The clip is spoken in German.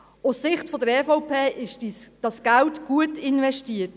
Aus Sicht der EVP ist das Geld gut investiert.